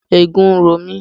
Eegun ń ro mi.